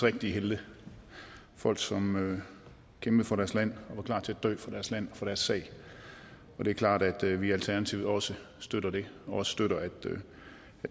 rigtige helte folk som kæmpede for deres land og var klar til at dø for deres land og for deres sag og det er klart at vi i alternativet også støtter det og støtter at